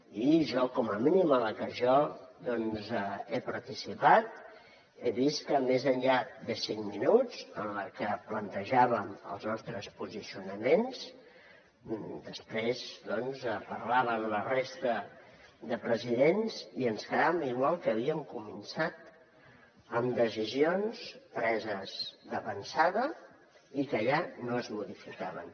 i com a mínim a la que jo he participat he vist que més enllà de cinc minuts en què plantejàvem els nostres posicionaments després doncs parlaven la resta de presidents i ens quedàvem igual que havíem començat amb decisions preses d’avançada i que allà no es modificaven